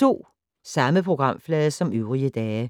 Samme programflade som øvrige dage